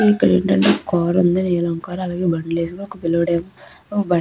ఇక్కడేంటంటే ఒక కార్ ఉంది. నీలం కార్ . అలాగే బండి లేదు. ఒక పిల్లోడు ఏమో బండి--